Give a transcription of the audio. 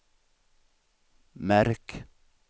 märk